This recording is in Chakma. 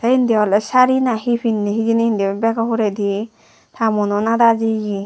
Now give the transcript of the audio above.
te indi ole sari na hi pinne hijeni indi bego huredi ta muono nada jiye.